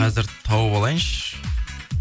қазір тауып алайыншы